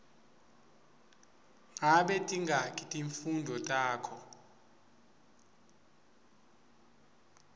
ngabe tingaki timfundvo takho